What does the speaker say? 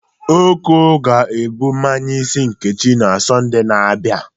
Oko ga-ebụ mmanye isi Nkechi na Sọnde na-abịa.